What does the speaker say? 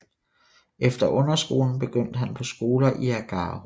Efter underskolen begyndte han på skoler i Agaro